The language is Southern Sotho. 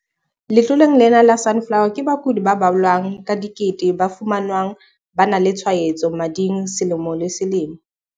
Letloleng lena la Sunflower, ke bakudi ba balwang ka dikete ba fumanwang ba na le tshwaetso mading selemo le selemo.